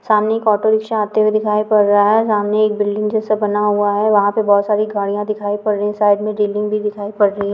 सामने एक auto rickshaw आते हुए दिखाई पड़ रहा हैं सामने एक बिल्डिंग जैसा बना हुआ हैं वहाँ पे बहुत सारी गाड़ियां दिखाई पड़ रही हैं साइड मे बिल्डिंग भी दिखाई पड़ रही हैं ।